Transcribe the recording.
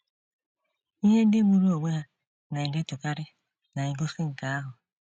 Ihe ndị gburu onwe ha na - edetukarị na - egosi nke ahụ.